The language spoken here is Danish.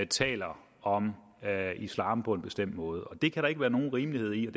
taler om islam på en bestemt måde det kan der ikke være nogen rimelighed i og